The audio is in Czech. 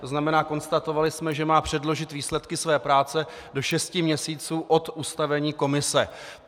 To znamená, konstatovali jsme, že má předložit výsledky své práce do šesti měsíců od ustavení komise.